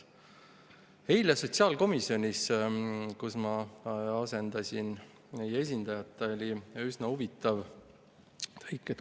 Eile oli sotsiaalkomisjonis, kus ma asendasin meie esindajat, üsna huvitav tõik.